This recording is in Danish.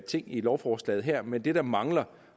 ting i lovforslaget her men det der mangler